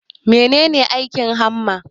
Mene ne aikin hamma?